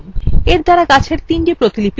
এর দ্বারা গাছের তিনটি প্রতিলিপি তৈরী করা হয়েছে